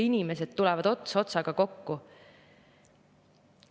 Inimesed tulevad ots otsaga kokku.